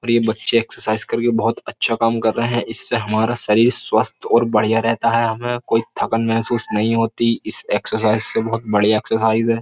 और ये बच्चे एक्सरसाइज करके बहुत अच्छा काम कर रहे हैं इससे हमारा शरीर स्वस्थ और बढ़िया रहता है हमें कोई थकन महसूस नहीं होती इस एक्सरसाइज से बहुत बढ़िया एक्सरसाइज है।